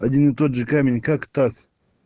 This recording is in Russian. один и тот же камень как так